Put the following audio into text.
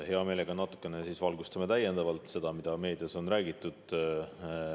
Hea meelega natukene valgustame täiendavalt seda, millest meedias on räägitud.